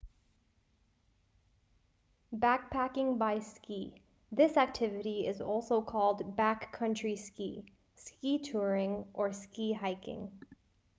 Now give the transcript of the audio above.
backpacking by ski this activity is also called backcountry ski ski touring or ski hiking